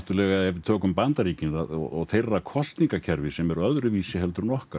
ef við tökum Bandaríkin og þeirra kosningakerfi sem er öðruvísi en okkar